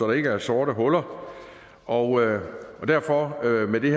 der ikke er sorte huller og derfor giver vi